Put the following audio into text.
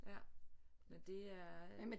Ja nåh det er